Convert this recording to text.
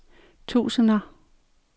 tusinder